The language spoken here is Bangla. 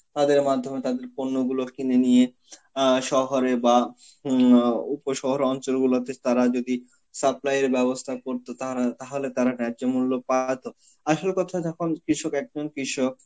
তাদের মাধ্যমে তাদের পণ্যগুলো কিনে নিয়ে আ শহরে বা হম আ উপশহর অঞ্চল গুলোতে তারা যদি supply এর ব্যবস্থা করত তারা, তাহলে তারা গ্রাহ্যমূল্য পায়াতো. আসল কথা যখন কৃষক~ একজন কৃষক